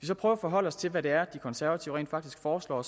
så prøve at forholde os til hvad det er de konservative rent faktisk foreslår og